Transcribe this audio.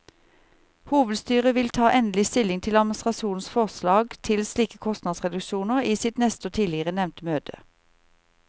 Hovedstyret vil ta endelig stilling til administrasjonens forslag til slike kostnadsreduksjoner i sitt neste og tidligere nevnte møte.